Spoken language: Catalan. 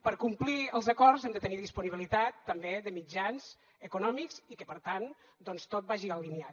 per complir els acords hem de tenir disponibilitat també de mitjans econòmics i que per tant doncs tot vagi alineat